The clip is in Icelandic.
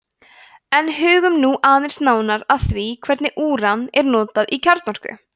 en hugum nú aðeins nánar að því hvernig úran er notað í kjarnorku